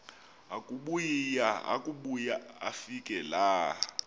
akubuya afike laa